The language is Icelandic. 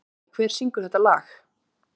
Kai, hver syngur þetta lag?